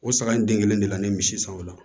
O saga in den kelen de la ne ye misi san o la